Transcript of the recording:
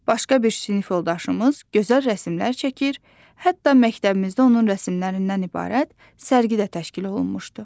Başqa bir sinif yoldaşımız gözəl rəsmlər çəkir, hətta məktəbimizdə onun rəsmlərindən ibarət sərgi də təşkil olunmuşdu.